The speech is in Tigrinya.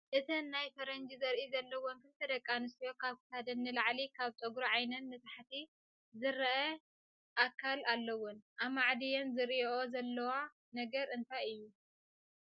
እተን ናይ ፈረንጂ ዘርኢ ዘለወን ክልተ ደቂ ኣነስትዮ ካብ ክሳደን ንላዕሊ ካብ ፀጉሪ ዓይነን ንታሕቲ ዝረኣ ካል አለወን፡፡ ኣማዕድየን ዝሪኦኦ ዘለዋ ነገር እንታይ እዩ?